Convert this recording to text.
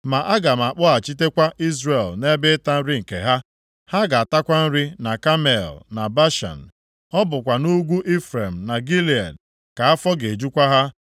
Ma aga m akpọghachitekwa Izrel nʼebe ịta nri nke ha. Ha ga-atakwa nri na Kamel na Bashan. Ọ bụkwa nʼugwu Ifrem na Gilead ka afọ ga-ejukwa ha.